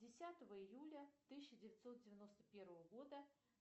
десятого июля тысяча девятьсот девяносто первого года